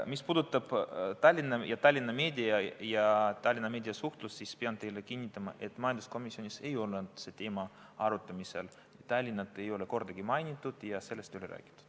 Mis puudutab Tallinna ja Tallinna meediat ja Tallinna meediasuhtlust, siis pean teile kinnitama, et majanduskomisjonis ei olnud see teema arutamisel, Tallinna kordagi ei mainitud ja sellest ei räägitud.